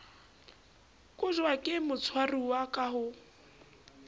kotjwa ke motshwaruwa ka ho